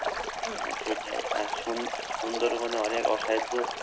হম সেটাই আর সুন সুন্দরবনে অনেক অসাইধু